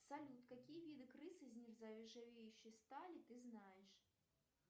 салют какие виды крыш из нержавеющей стали ты знаешь